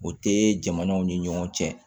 O tɛ jamanaw ni ɲɔgɔn cɛ